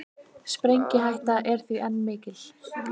Sprengihætta er því enn mikil